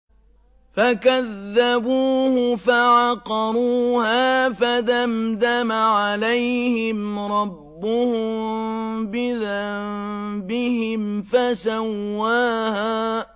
فَكَذَّبُوهُ فَعَقَرُوهَا فَدَمْدَمَ عَلَيْهِمْ رَبُّهُم بِذَنبِهِمْ فَسَوَّاهَا